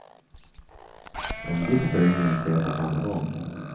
En viss föryngring sker på samma gång.